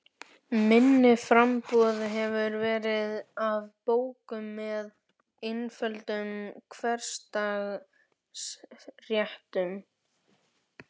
Minna framboð hefur verið af bókum með einföldum hversdagsréttum.